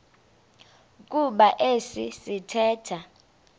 kuba esi sithethe